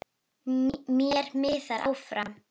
Mér miðar áfram.